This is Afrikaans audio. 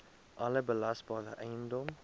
alle belasbare eiendom